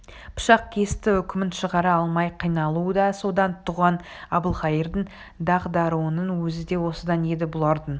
пышақ кесті үкімін шығара алмай қиналуы да содан туған әбілқайырдың дағдаруының өзі де осыдан еді бұлардың